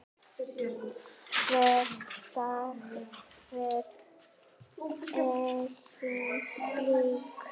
Hver dagur var engum líkur.